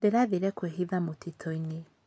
Ndĩrathire kwĩhitha mũtitũ-inĩ.